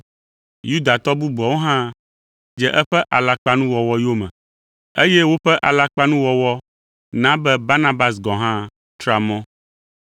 Yudatɔ bubuawo hã dze eƒe alakpanuwɔwɔ yome, eye woƒe alakpanuwɔwɔ na be Barnabas gɔ̃ hã tra mɔ.